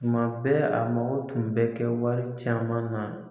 Tuma bɛɛ a mago tun bɛ kɛ wari caman na